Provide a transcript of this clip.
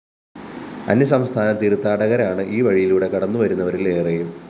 അന്യസംസ്ഥാന തീര്‍ത്ഥാടകരാണ് ഈവഴികളിലൂടെ കടന്നുവരുന്നവരില്‍ ഏറെയും